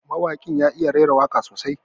Mawaƙin ya iya rera waka sosai.